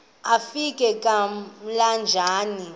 akofi ka emlanjeni